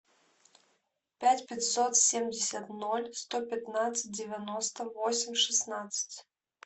пять пятьсот семьдесят ноль сто пятнадцать девяносто восемь шестнадцать